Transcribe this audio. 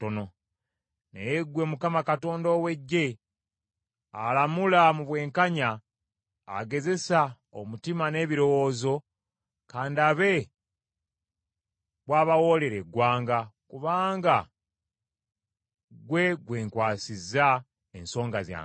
Naye ggwe Mukama Katonda ow’Eggye, alamula mu bwenkanya, agezesa omutima n’ebirowoozo, ka ndabe bw’obawoolera eggwanga, kubanga ggwe gwenkwasizza ensonga yange.